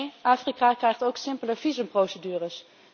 Nee, Afrika krijgt ook simpeler visumprocedures.